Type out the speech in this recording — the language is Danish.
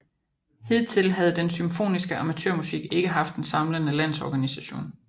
Hidtil havde den symfoniske amatørmusik ikke haft en samlende landsorganisation